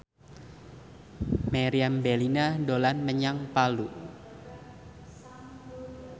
Meriam Bellina dolan menyang Palu